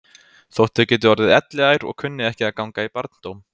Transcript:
Þótt þau geti orðið elliær og kunni ekki að ganga í barndóm.